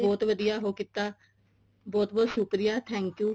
ਬਹੁਤ ਵਧੀਆ ਉਹ ਕੀਤਾ ਬਹੁਤ ਬਹੁਤ ਸ਼ੁਕਰੀਆ thank you